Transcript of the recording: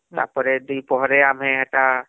ତାପରେ ଦିପହରେ ଆମେ ହେଟା